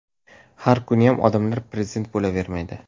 Har kuniyam odamlar prezident bo‘lavermaydi.